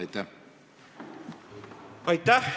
Aitäh!